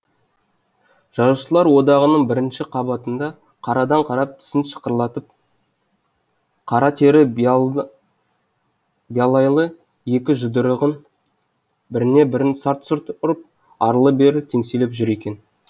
жазушылар одағының бірінші қабатында қарадан қарап тісін шықырлатып қара тері биялайлы екі жұдырығын біріне бірін сарт сарт ұрып арлы берлі теңселіп жүр екен